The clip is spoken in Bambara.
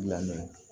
Lamɛn